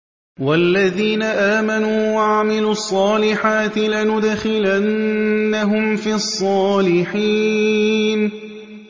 وَالَّذِينَ آمَنُوا وَعَمِلُوا الصَّالِحَاتِ لَنُدْخِلَنَّهُمْ فِي الصَّالِحِينَ